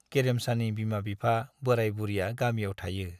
गेरेमसानि बिमा-बिफा बोराय-बुरिया गामियाव थायो।